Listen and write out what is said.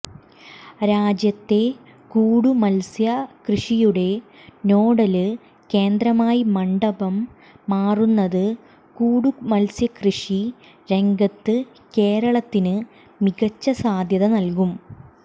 രാജ്യത്തെ കൂടുമത്സ്യ കൃഷിയുടെ നോഡല് കേന്ദ്രമായി മണ്ഡപം മാറുന്നത് കൂടുമത്സ്യകൃഷി രംഗത്ത് കേരളത്തിന് മികച്ച സാധ്യത നല്കും